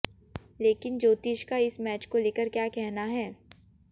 लेकिन ज्योतिष का इस मैच को लेकर क्या कहना है